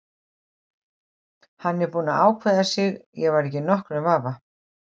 Hann var búinn að ákveða sig, ég var ekki í nokkrum vafa.